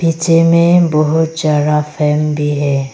पीछे में बहोत ज्यादा फैन भी है।